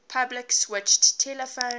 public switched telephone